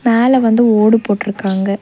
மேல வந்து ஓடு போட்டு இருக்காங்க.